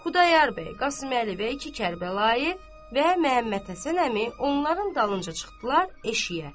Xudayar bəy, Qasıməli bəy iki Kərbəlayı və Məmmədhəsən əmi onların dalınca çıxdılar eşiyə.